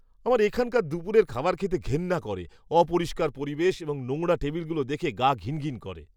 আমার এখানকার দুপুরের খাবার খেতে ঘেন্না করে, অপরিষ্কার পরিবেশ এবং নোংরা টেবিলগুলো দেখে গা ঘিনঘিন করে।